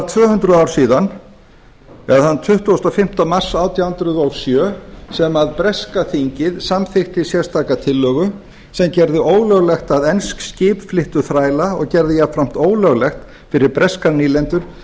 tvö hundruð ár síðan eða þann tuttugasta og fimmta mars átján hundruð og sjö sem breska þingið samþykkti sérstaka tillögu sem gerði ólöglegt að ensk skip flyttu þræla og gerði jafnframt ólöglegt fyrir breskar nýlendur